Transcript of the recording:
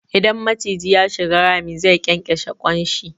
Idan maciji ya shiga rami, zai ƙyanƙyashe ƙwan shi.